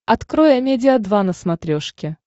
открой амедиа два на смотрешке